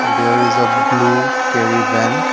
there is a blue carry van.